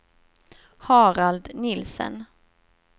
Harald Nielsen